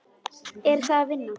Er það vinnan?